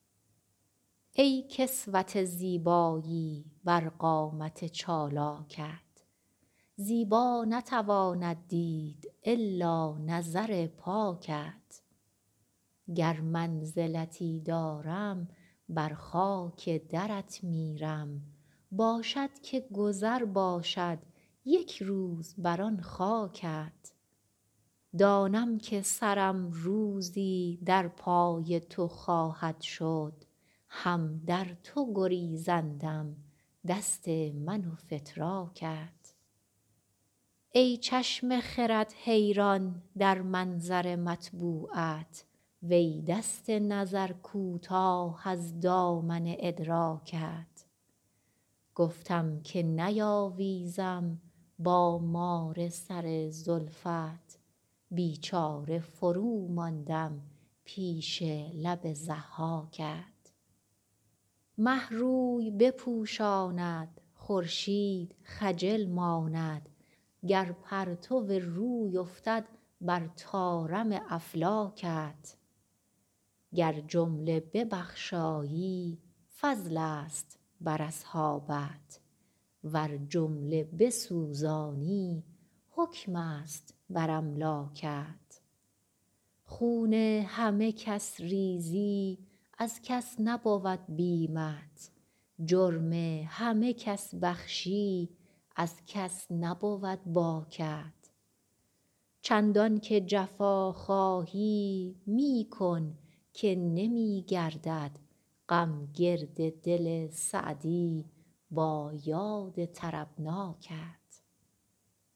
ای کسوت زیبایی بر قامت چالاکت زیبا نتواند دید الا نظر پاکت گر منزلتی دارم بر خاک درت میرم باشد که گذر باشد یک روز بر آن خاکت دانم که سرم روزی در پای تو خواهد شد هم در تو گریزندم دست من و فتراکت ای چشم خرد حیران در منظر مطبوعت وی دست نظر کوتاه از دامن ادراکت گفتم که نیاویزم با مار سر زلفت بیچاره فروماندم پیش لب ضحاکت مه روی بپوشاند خورشید خجل ماند گر پرتو روی افتد بر طارم افلاکت گر جمله ببخشایی فضلست بر اصحابت ور جمله بسوزانی حکمست بر املاکت خون همه کس ریزی از کس نبود بیمت جرم همه کس بخشی از کس نبود باکت چندان که جفا خواهی می کن که نمی گردد غم گرد دل سعدی با یاد طربناکت